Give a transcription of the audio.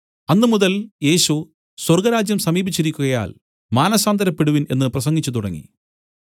അന്നുമുതൽ യേശു സ്വർഗ്ഗരാജ്യം സമീപിച്ചിരിക്കുകയാൽ മാനസാന്തരപ്പെടുവിൻ എന്നു പ്രസംഗിച്ചു തുടങ്ങി